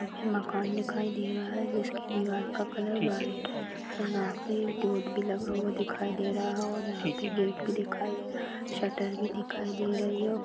एक मकान दिखाई दे रहा है जिसकी दीवार का कलर वाइट है यहा पे एक बोर्ड भी लगा हुआ दिखाई दे रहा है और यहा पे गेट भी दिखाई शटर भी दिखाई दे रही है और--